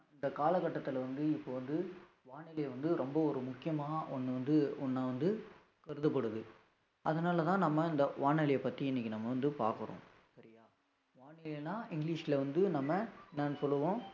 இந்த காலகட்டத்தில வந்து இப்ப வந்து வானிலை வந்து ரொம்ப ஒரு முக்கியமான ஒன்னு வந்து ஒன்ன வந்து கருதப்படுது அதனாலதான் நம்ம இந்த வானொலியை பத்தி இன்னைக்கு நம்ம வந்து பாக்குறோம் சரியா வானிலைன்னா இங்கிலிஷ்ல வந்து நம்ம என்னனு சொல்லுவோம்